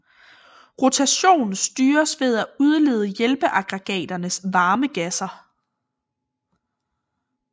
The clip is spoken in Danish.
Rotation styres ved at udlede hjælpeaggregaternes varme gasser